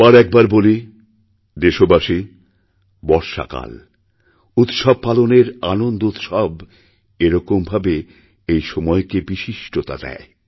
আবার একবার বলিদেশবাসী বর্ষাকাল উৎসব পালনের আনন্দোৎসব একরকমভাবে এই সময়কে বিশিষ্টতা দেয়